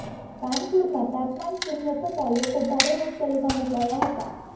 કાનપુરમાં તાપમાન શૂન્ય થતાં લોકો ભારે મુશ્કેલીમાં મુકાયા હતા